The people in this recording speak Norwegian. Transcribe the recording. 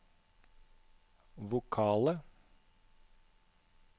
vokale